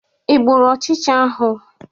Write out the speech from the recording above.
Ị gbụrụ ochicha ahụ?